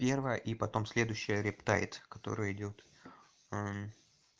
первая и потом следующее рептай которая идёт